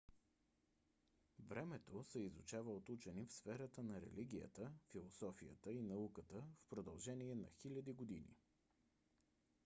времето се изучава от учени в сферата на религията философията и науката в продължение на хиляди години